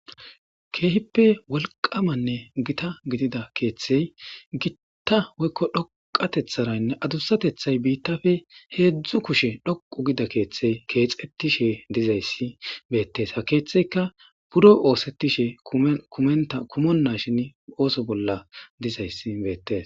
Keehippe wolqamanne Gita gidida keetheyi gitta woyko dhoqatetharan adusatethayi bitappe hezdzdu kushe dhoqu gida ketheyi kexetishe dizaysi beetesi .ha keetheyka buro osetishe kumenashn ooso bolla dizaysi beetesi.